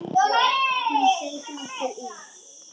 Hún seig nokkuð í.